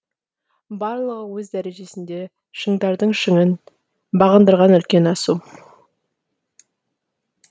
барлығы өз дәрежесінде шыңдардың шыңын бағындырған үлкен асу